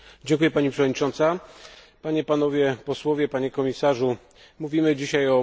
Mówimy dzisiaj o mechanizmie stabilizacji finansowej w Europie, mówimy o budżecie korygującym.